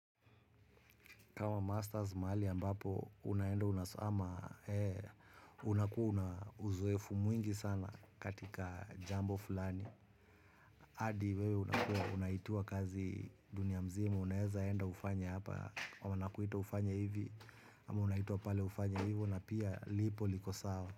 Kama masters mahali ambapo, unaenda unasama, unakua una uzoefu mwingi sana katika jambo fulani. Hadi wewe unakuwa, unaitiwa kazi dunia mzima, unaweza enda ufanye hapa, ama nakuita ufanye hivi, ama unaitwa pale ufanye hivyo, na pia lipo liko sawa.